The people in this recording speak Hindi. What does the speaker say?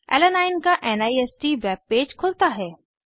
अलानाइन ऐलानाइन का निस्त वेब पेज खुलता है